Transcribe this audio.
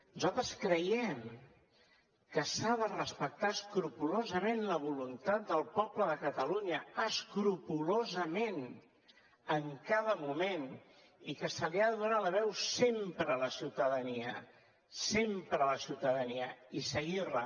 nosaltres creiem que s’ha de respectar escrupolosament la voluntat del poble de catalunya escrupolosament en cada moment i que se li ha de donar la veu sempre a la ciutadania i seguir la